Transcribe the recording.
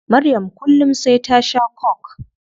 Maryam kullum sai ta shaa coke